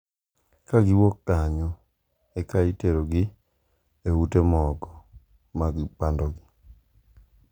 Kagiwuok kanyo eka iterogi e ute moko mag pandogi.